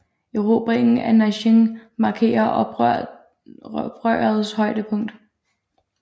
Erobringen af Nanjing markerer oprørets højdepunkt